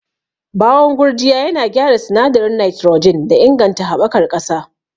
Bawon gurjiya yana gyara sinadarin nitrogen da inganta haɓakar ƙasa.